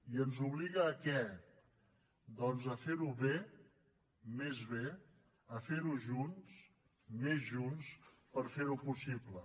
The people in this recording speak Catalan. i ens obliga a què doncs a fer ho bé més bé a fer ho junts més junts per fer ho possible